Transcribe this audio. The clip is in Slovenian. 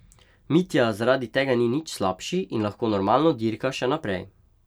Mitja zaradi tega ni nič slabši in lahko normalno dirka še naprej.